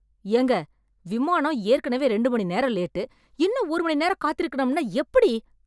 ஏங்க! விமானம் ஏற்கனவே ரெண்டு மணி நேரம் லேட்டு. இன்னும் ஒரு மணி நேரம் காத்திருக்கணும்னா எப்படி?